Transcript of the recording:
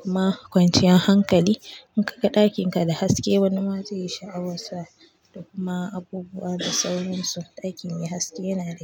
kuma kwanciyar hankali. In ka ga ɗakinka da haske wani ma zaiyi sha'awar sa. Da kuma abubuwa da sauransu. Ɗaki mai haske yana da.